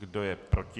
Kdo je proti?